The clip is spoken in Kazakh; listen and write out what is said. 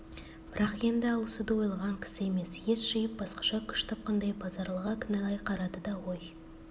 бірақ енді алысуды ойлаған кісі емес ес жиып басқаша күш тапқандай базаралыға кінәлай қарады да ой